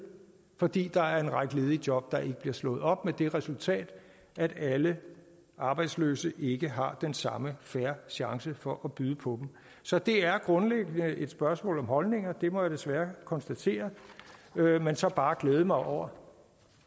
fordi der er en række ledige job der ikke bliver slået op med det resultat at alle arbejdsløse ikke har den samme fair chance for at byde på dem så det er grundlæggende et spørgsmål om holdninger det må jeg desværre konstatere jeg vil så bare glæde mig over